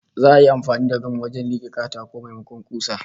Za'a yi amfani da gam wajen like katakon, maimakon kusa